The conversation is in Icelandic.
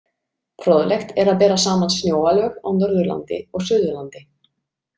Fróðlegt er að bera saman snjóalög á Norðurlandi og Suðurlandi.